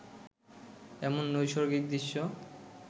এমন নৈসর্গিক দৃশ্য